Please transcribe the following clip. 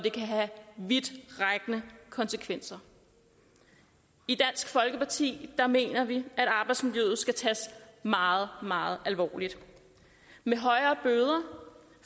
vidtrækkende konsekvenser i dansk folkeparti mener vi at arbejdsmiljøet skal tages meget meget alvorligt med højere bøder